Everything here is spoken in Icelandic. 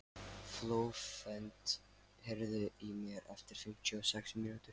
Flóvent, heyrðu í mér eftir fimmtíu og sex mínútur.